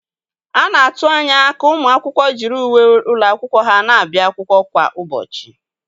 A na-atụ anya ka ụmụ akwụkwọ jiri uwe ụlọ akwụkwọ ha na-abịa akwụkwọ kwa ụbọchị.